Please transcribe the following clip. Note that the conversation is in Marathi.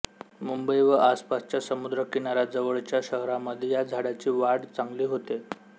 मुंबई व आसपासच्या समुद्र किनाऱ्याजवळच्या श्हारामध्ये या झाडांची वाड चांगली होते